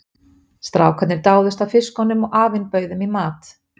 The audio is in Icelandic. Strákarnir dáðust að fiskunum og afinn bauð þeim í mat.